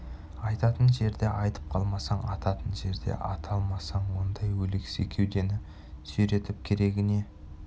айтатын жерде айтып қалмасаң ататын жерде ата алмасаң ондай өлексе кеудені сүйретіп керегі не